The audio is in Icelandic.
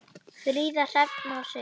Fríða, Hrefna og Sigrún.